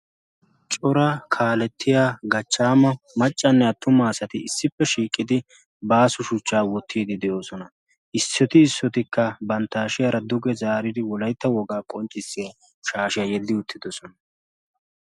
Cora kaalettiya gachchaama maccanne attuma asati issippe shiiqqidi baasu shuchchaa wottiidi de'oosona. issoti issotikka bantta ashiyaara duge zaaridi wolaitta wogaa qonccissiya shaashiyaa yeddi uttidosona.